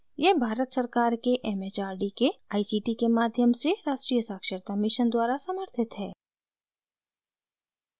यह भारत सरकार के it it आर डी के आई सी टी के माध्यम से राष्ट्रीय साक्षरता mission द्वारा समर्थित है